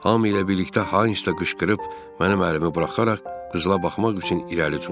Hamı ilə birlikdə Hans da qışqırıb, mənim əlimi buraxaraq qızıla baxmaq üçün irəli cumdu.